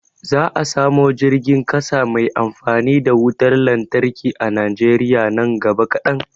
Za a samu jirgin ƙasa mai amfani da wutar lantarki a Najeriya nan gaba kadan